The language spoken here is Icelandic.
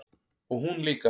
Og hún líka.